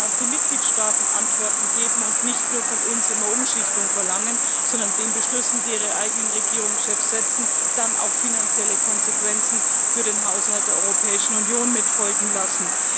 Da müssen auch die Mitgliedstaaten Antworten geben und nicht nur von uns immer Umschichtung verlangen, sondern den Beschlüssen, die ihre eigenen Regierungschefs setzen, dann auch finanzielle Konsequenzen für den Haushalt der Europäischen Union folgen lassen.